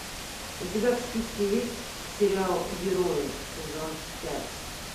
у тебя в списке есть сериал герои сезон пять